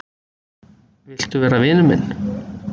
Viltu vera vinur minn